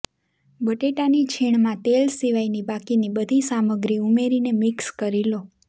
બટેટાની છીણમાં તેલ સિવાયની બાકીની બધી સામગ્રી ઉમેરીને મિક્સ કરી લો